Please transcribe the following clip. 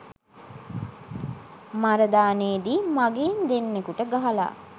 මරදානේදී මඟීන් දෙන්නකුට ගහලා